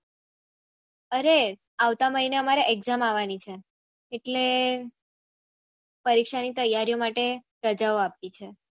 અરે આવતા મહીને અમારે exam આવાની છે એટલે પરીક્ષા ની તૈયારિયો માટે રજાઓ આપી છે